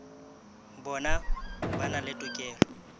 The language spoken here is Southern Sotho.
bona ba na le tokelo